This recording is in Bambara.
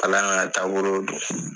Ala taabolo don